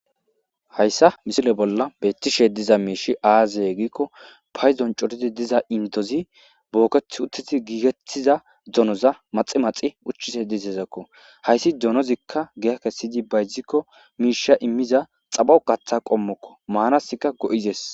hayssa misile bolla beettishe diza miishi aazeye giikko payzon coridi diza intozi booketh uteti giigettiza donoza maxi maxi uchchise disezakko hayssi donozikka giya kessidi bayzikko miisha immiza xabo gatha qommokko maanasikka go7izes